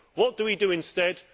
What do we do instead?